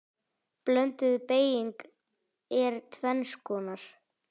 Blönduð beyging er tvenns konar